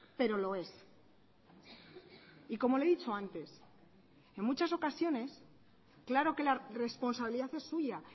pero lo es y como le he dicho antes en muchas ocasiones claro que la responsabilidad es suya